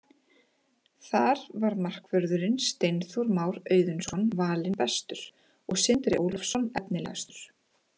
Þar var markvörðurinn Steinþór Már Auðunsson valinn bestur og Sindri Ólafsson efnilegastur.